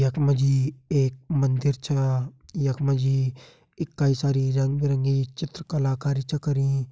यखमा जी एक मंदिर छ यखमा जी कई सारी रंग-बिरंगी चित्र कलाकारी च करीं।